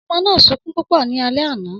Ọmọ náà sunkún púpọ̀ ní alẹ́ àná